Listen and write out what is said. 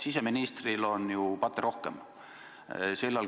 Siseministril on ju patte rohkem.